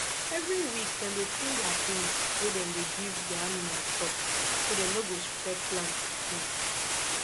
every week dem dey clean their things wey dem dey give their animal chop so dem no go spread plant sickness